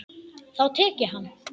Þá tek ég hann!